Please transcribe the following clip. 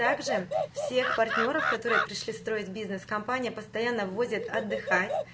так же всех партнёров которые пришли строить бизнес компания постоянно возит отдыхать